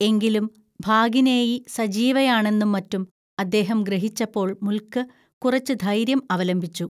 എങ്കിലും ഭാഗിനേയി സജീവയാണെന്നും മറ്റും അദ്ദേഹം ഗ്രഹിച്ചപ്പോൾ മുൽക്ക് കുറച്ചു ധൈര്യം അവലംബിച്ചു